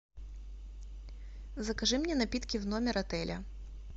закажи мне напитки в номер отеля